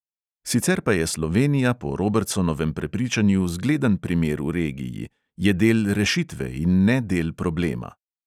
Sicer pa je slovenija po robertsonovem prepričanju zgleden primer v regiji: je del rešitve in ne del problema.